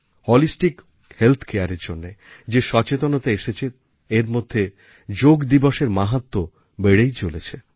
holistic health Careএর জন্য যে সচেতনতা এসেছে এর মধ্যে যোগ দিবসএর মাহাত্ম্য বেড়েই চলেছে